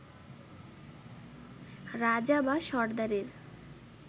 রাজা বা সর্দারের